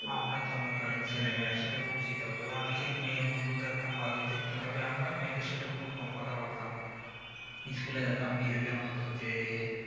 আমরা তো মনে করেন ছেলে মেয়ে একসাথে পড়ছি তবেও অনেকের মেয়ে বন্ধু দেখতাম ভালোই থাকতো তবে আমরা মেয়েদের সাথে খুবই কম কথা বলতাম school এ যেতাম নিজেদের মত যেয়ে